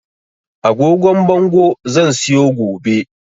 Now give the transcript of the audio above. Agogon bango zan siyo gobe